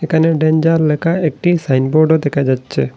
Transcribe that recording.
এখানে ডেঞ্জার লেখা একটি সাইনবোর্ডও দেখা যাচ্ছে।